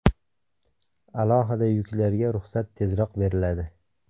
Alohida yuklarga ruxsat tezroq beriladi.